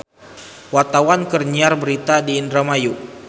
Wartawan keur nyiar berita di Indramayu